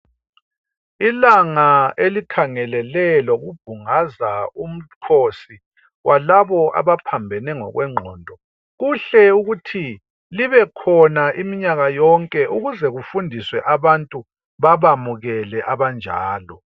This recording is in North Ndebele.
Ilanga elikhangelele lokubhungaza umkhosi walabo abaphambane ngokwengqondo kuhle ukuthi libe khona imimnyaka yonke ukuze kufundiswe abantu babamukele abanjalo.